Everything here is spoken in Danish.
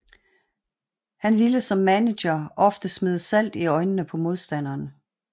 Han ville som manager ofte smide salt i øjnene på modstanderen